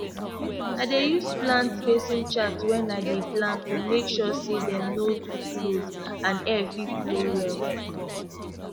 i dey use plant spacing chart when i dey plant to make sure say dem no too close and air fit flow well